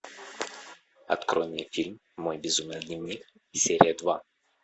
открой мне фильм мой безумный дневник серия два